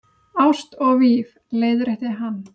Ást og víf- leiðrétti hann.